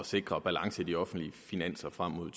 sikre balance i de offentlige finanser frem mod